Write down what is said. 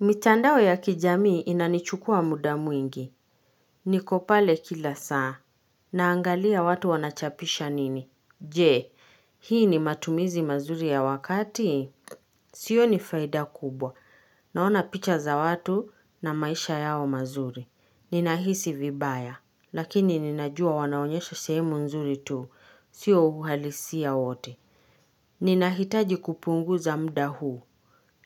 Mitandao ya kijamii inanichukua muda mwingi. Niko pale kila saa. Naangalia watu wanachapisha nini? Je, Hii ni matumizi mazuri ya wakati? Si hiyo ni faida kubwa. Naona picha za watu na maisha yao mazuri. Ninahisi vibaya, Lakini ninajua wanaonyesha sehemu nzuri tu. Siyo uhalisia wote. Ninahitaji kupunguza muda huu.